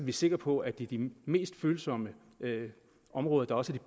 er sikre på at det er de mest følsomme områder der også er